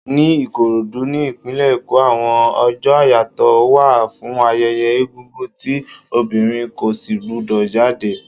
Ni Ìkòròdú, ní ìpínlè Èkó, àwọn ọjọ́ àyàtọ̀ wà fún ayẹyẹ egúngún tí obìnrin kò si gbu dò jáde.